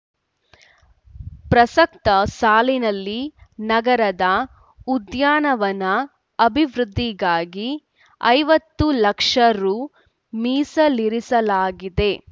ಪ್ರಸಕ್ತ ಸಾಲಿನಲ್ಲಿ ನಗರದ ಉದ್ಯಾನವನ ಅಭಿವೃದ್ಧಿಗಾಗಿ ಐವತ್ತು ಲಕ್ಷ ರು ಮೀಸಲಿರಿಸಲಾಗಿದೆ